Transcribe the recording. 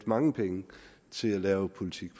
mange penge til at lave politik